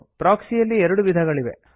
ಪ್ರೊಕ್ಸಿಯಲ್ಲಿ ಎರಡು ವಿಧಗಳಿವೆ